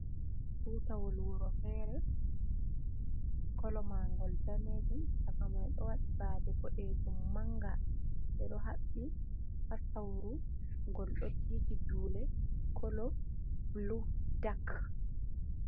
Tutawol wuro fere, kolo magol danejum chaka mai do wadi bade bodejum manga be do habi hasauru gol dotiti dule kolo blu dak.